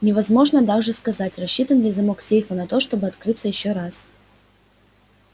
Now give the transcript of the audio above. невозможно также сказать рассчитан ли замок сейфа на то чтоб открыться ещё раз